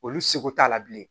Olu seko t'a la bilen